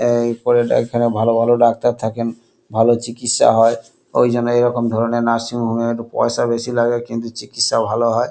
এই এখানে ভালো ভালো ডাক্তার থাকেন ভালো চিকিৎসা হয় ওই জন্য এই রকম ধরনের নার্সিং হোম এর পয়সা বেশি লাগে কিন্তু চিকিৎসা ভালো হয়।